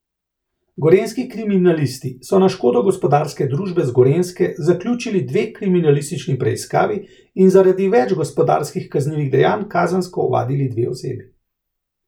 Gorenjski kriminalisti so na škodo gospodarske družbe z Gorenjske zaključili dve kriminalistični preiskavi in zaradi več gospodarskih kaznivih dejanj kazensko ovadili dve osebi.